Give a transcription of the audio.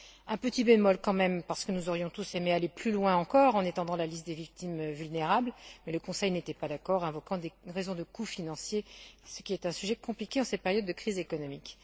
Un petit bémol tout de même, parce que nous aurions tous aimé aller plus loin encore, en étendant la liste des victimes vulnérables, mais le Conseil n'était pas d'accord, invoquant des raisons de coût financier, ce qui est un sujet compliqué en cette période de crise économique.